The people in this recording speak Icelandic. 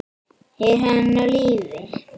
Er hann á lífi?